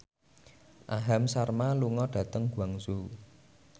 Aham Sharma lunga dhateng Guangzhou